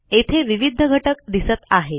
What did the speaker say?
येथे विविध घटक दिसत आहेत